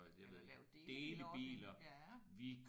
Eller laver delebilordninger